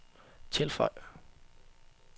tilføj